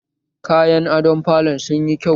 Kayan adon falon sunyi kyau